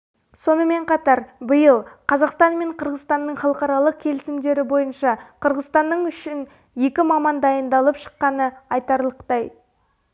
сонымен қатар биыл қазақстан мен қырғызстанның халықаралық келісімдері бойынша кырғызстанның үшін екі маман дайындалып шыққаны айтарлықтай